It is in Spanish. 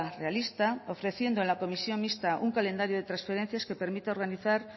realista ofreciendo en la comisión mixta un calendario de transferencias que permite organizar